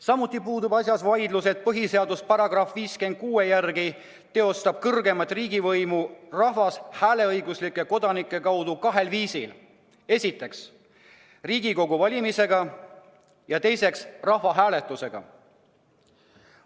Samuti puudub asjas vaidlus, et põhiseaduse § 56 järgi teostab kõrgeimat riigivõimu rahvas hääleõiguslike kodanike kaudu kahel viisil: esiteks Riigikogu valimisega ja teiseks rahvahääletusega.